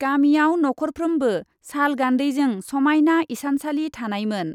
गामिआव नख ' रफ्रोमबो साल गान्दैजों समायना इसानसाली थानायमोन ।